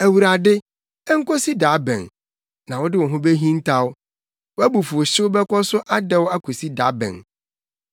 Awurade, enkosi da bɛn? Na wode wo ho behintaw? Wʼabufuwhyew bɛkɔ so adɛw akosi da bɛn?